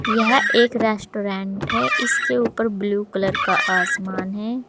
यह एक रेस्टोरेंट है इसके ऊपर ब्लू कलर का आसमान है।